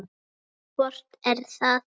Hvort er það?